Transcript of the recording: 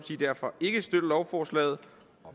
derfor ikke støtte lovforslaget